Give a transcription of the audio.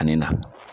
Ani na